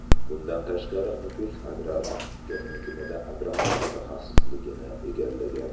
Bundan tashqari, Nukus agrar texnikumida agronom mutaxassisligini egallagan.